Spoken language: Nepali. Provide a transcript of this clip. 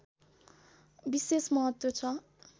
विशेष महत्व छ